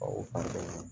o kɔfɛ